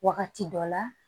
Wagati dɔ la